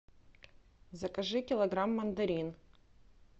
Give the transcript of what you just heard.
закажи килограмм мандарин